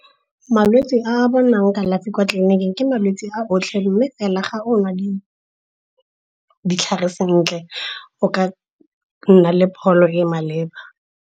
Malwetse a bonang kalafi kwa tleliniking ke malwetse a otlhe, mme fela ga o nwa ditlhare sentle o ka nna le pholo e e maleba.